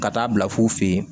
Ka taa bila fu ye